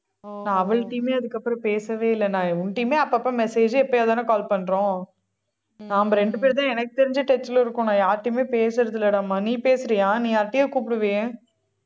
நான் அவள்ட்டயுமே அதுக்கப்புறம் பேசவே இல்லை நான் உன்ட்டயுமே அப்பப்ப message ஏ எப்பையாவதுதானே call பண்றோம் நம்ம ரெண்டு பேருதான் எனக்கு தெரிஞ்ச touch ல இருக்கோம் நான் யார்கிட்டயுமே பேசறதில்லடாம்மா நீ பேசறியா நீ யார்கிட்டயோ கூப்பிடுவியே